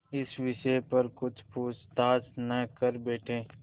इस विषय पर कुछ पूछताछ न कर बैठें